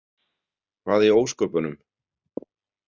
Hvað í ósköpunum?